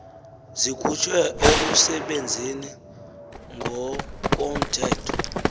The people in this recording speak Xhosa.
zikhutshwe erusebenzeni ngokomthetho